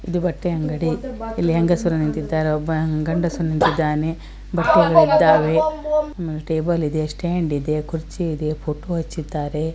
ಇದು ಬಟ್ಟೆ ಅಂಗಡಿ ಇಲ್ಲಿ ಹೆಂಗಸರು ನಿಂತಿದ್ದಾರೆ ಒಬ್ಬ ಗಂಡಸು ನಿಂತಿದ್ದಾನೆ ಬಟ್ಟೆಗಳು ಇದ್ದವೆ ಆಮೇಲೆ ಟೇಬಲ್ ಇದೆ ಸ್ಟಾಂಡ್ ಇದೆ ಕುರ್ಚಿ ಇದೆ ಫೊಟೊ ಹಚ್ಚಿದ್ದಾರೆ.